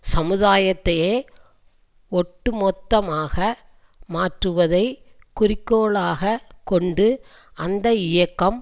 சமுதாயத்தையே ஒட்டுமொத்தமாக மாற்றுவதை குறிக்கோளாக கொண்டு அந்த இயக்கம்